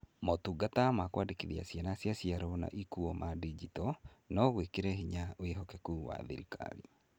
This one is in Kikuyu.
Motungata ma kũandĩkithia ciana cia ciarwo na ikuo ma ndinjito no gwĩkĩre hinya wĩhokeku wa thirikari.